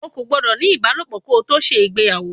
O kò gbọ́dọ̀ ní ibalopo kò tó gbéyàwó!